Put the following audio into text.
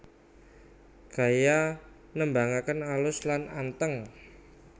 Gaya nembangaken alus lan anteng